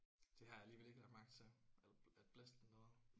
Det har jeg alligevel ikke lagt mærke til al alt blæsten dernede